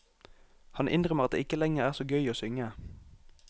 Han innrømmer at det ikke lenger er så gøy å synge.